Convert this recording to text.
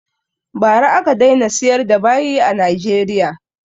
Ba ra aka daina siyar da bayi a Nigeria